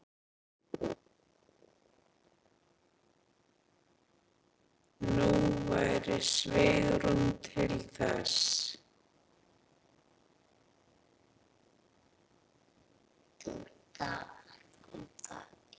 Nú væri svigrúm til þess.